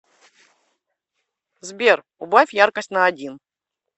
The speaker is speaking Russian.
сбер убавь яркость на один